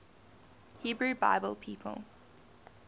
hebrew bible people